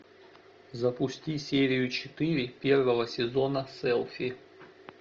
запусти серию четыре первого сезона селфи